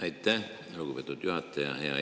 Aitäh, lugupeetud juhataja!